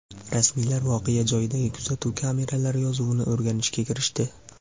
Rasmiylar voqea joyidagi kuzatuv kameralari yozuvini o‘rganishga kirishdi.